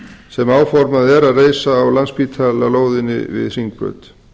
sem áformað er að reisa á landspítalalóðinni við hringbraut